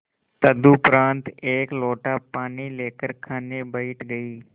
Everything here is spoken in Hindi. तदुपरांत एक लोटा पानी लेकर खाने बैठ गई